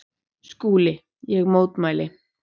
SKÚLI: Ég mótmæli!